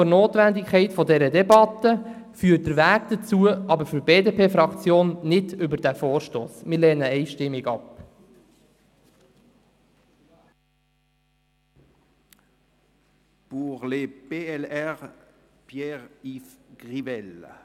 Für die BDP-Fraktion führt der Weg dahin nicht über diesen Vorstoss, unabhängig von der Notwendigkeit dieser Debatte.